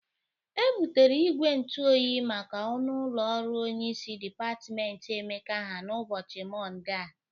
E bụtere igwe ntụ oyi make ọnụ ụlọ ọrụ onyeisi dịpatmentị Emeka ha n'ụbọchi mọnde a.